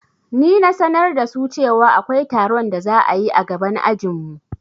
Ni na sanar da su cewa akwai taron da za'ayi a gaban ajinmu